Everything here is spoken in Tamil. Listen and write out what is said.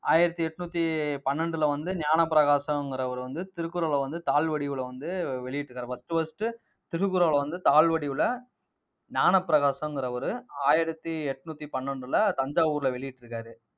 ஆயிரத்தி எட்நூத்தி பன்னெண்டுல வந்து, ஞானப்பிரகாசம்ங்கிறவரு வந்து திருக்குறளை வந்து தாள்வடிவுல வந்து வெளியிட்டு இருக்காரு. first first திருக்குறளை வந்து, தாள்வடிவுல ஞானப்பிரகாசம்ங்கிறவரு ஆயிரத்தி எட்நூத்தி பன்னெண்டுல தஞ்சாவூர்ல வெளியிட்டிருக்காரு